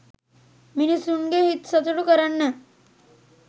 මිනිස්සුන්ගේ හිත් සතුටු කරන්න